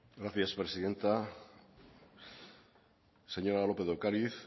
gracias presidenta señora lópez de ocariz